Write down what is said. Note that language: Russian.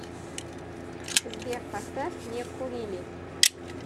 сбер поставь не курили